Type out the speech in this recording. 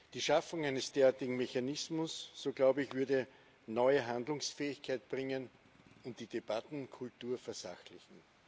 Die Schaffung eines derartigen Mechanismus so glaube ich würde neue Handlungsfähigkeit bringen und die Debattenkultur versachlichen.